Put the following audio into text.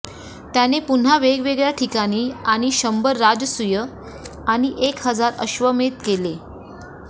त्याने पुन्हा वेगवेगळ्या ठिकाणी आणि शंभर राजसूय आणि एक हजार अश्वमेध केले